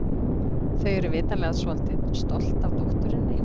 Þau eru vitanlega svolítið stolt af dótturinni.